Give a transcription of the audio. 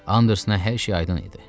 Andersona hər şey aydın idi.